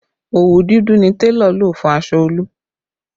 Òwú dúdú ni télọ̀ lò fún aṣọ Olú